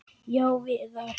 Já, Viðar.